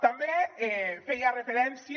també feia referència